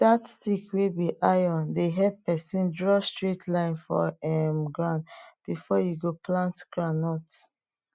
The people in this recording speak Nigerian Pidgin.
dat stick wey be iron dey help pesin draw straight line for um ground before you go plant groundnut